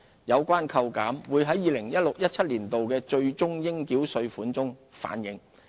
有關扣減會在 2016-2017 年度的最終應繳稅款反映。